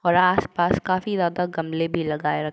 और आस पास काफी ज्यादा गमले भी लगाये रख --